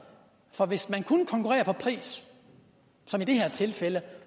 for hvis man kun konkurrerer på pris som i det her tilfælde